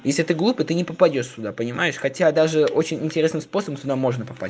если ты глупый ты не попадёшь сюда понимаешь хотя даже очень интересным способом сюда можно попасть